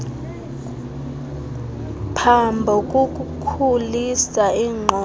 phambo kukukhulisa iingqondo